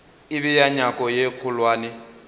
e bea nyako ye kgolwane